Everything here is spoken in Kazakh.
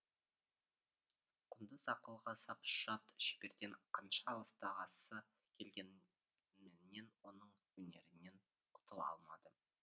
құндыз ақылға сап жат шеберден қанша алыстағысы келгенменен оның өнерінен құтыла алмады